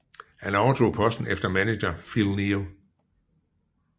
Han overtog posten efter manager Phil Neal